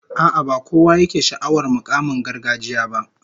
A'a, ba kowa yake sha'awar mukaman gargajiya ba